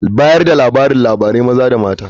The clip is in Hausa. Bayar da labariLabari maza da mata.